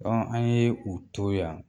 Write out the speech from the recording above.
an ye u to yan